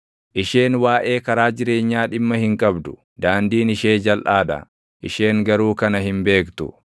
Isheen waaʼee karaa jireenyaa dhimma hin qabdu; daandiin ishee jalʼaa dha; isheen garuu kana hin beektu.